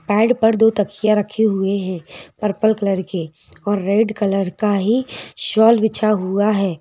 Pad पर दो तकिया रखे हुए हैं पर्पल कलर के और रेड कलर का ही शॉल बिछा हुआ है।